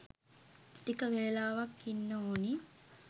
ටික වෙලාවක් ඉන්න ඕනි..